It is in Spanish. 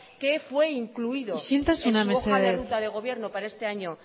que fue incluido en su hoja de ruta de gobierno para este año